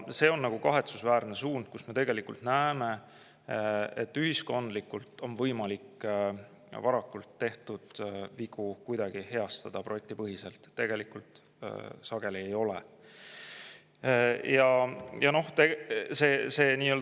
See on kahetsusväärne suund, sest me tegelikult näeme, et ühiskondlikult on võimalik tehtud vigu varakult heastada, kuid projektipõhiselt tegelikult sageli ei ole.